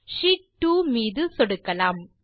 sheet two மீது சொடுக்கலாம்